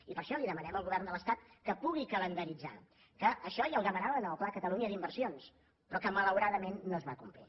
i per això li demanem al govern de l’estat que pugui calendaritzar que això ja ho demanaven en el pla catalunya d’inversions però que malauradament no es va complir